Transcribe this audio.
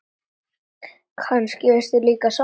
Kannski veistu líka svarið.